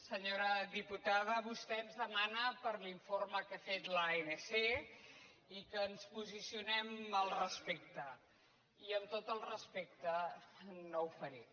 senyora diputada vostè ens demana per l’informe que ha fet l’anc i que ens posicionem al respecte i amb tot el respecte no ho faré